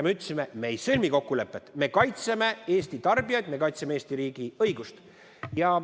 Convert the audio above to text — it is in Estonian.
Me ütlesime, et me ei sõlmi kokkulepet, me kaitseme Eesti tarbijaid, me kaitseme Eesti riigi õigust.